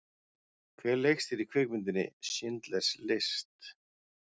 Hver leikstýrði kvikmyndinni Schindlers List?